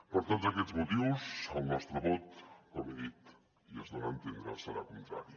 per tots aquests motius el nostre vot com he dit i es dona a entendre serà contrari